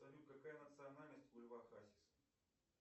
салют какая национальность у льва хасиса